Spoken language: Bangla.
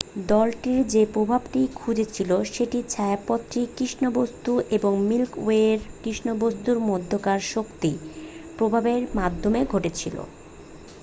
দলটি যে প্রভাবটি খুজছিল সেটি ছায়াপথটির কৃষ্ণ বস্তু এবং মিল্কি ওয়ের কৃষ্ণবস্তুর মধ্যাকার শক্তি প্রবাহের মাধ্যমে ঘটেছিল